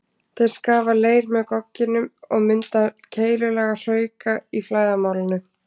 Þeir skafa leir með gogginum og mynda keilulaga hrauka í flæðarmálinu.